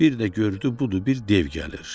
Bir də gördü budur bir dev gəlir.